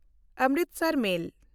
Amritsar ᱢᱮᱞ